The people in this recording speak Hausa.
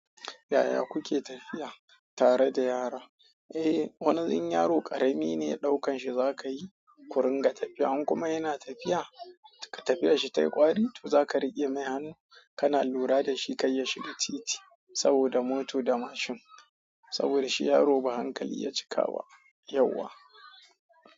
Yaya kuke tafiya tare da yara? Eh, wani in yaro ƙarami ne ɗaukan shi za ka yi ƙuringa tafiya. In kuma yana tafiya, ka tafi da shi ta ƙwari to za ka riƙe mai hannu ka na lura da shi kar ya shiga titi saboda mota da mashin. Saboda shi yaro ba hankali ya cika ba yauwa.